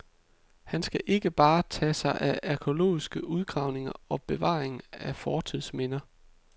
Han skal ikke bare tage sig af arkæologiske udgravninger og bevaring af fortidsminder.